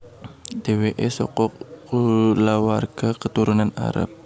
Dheweke saka kulawarga keturunan Arab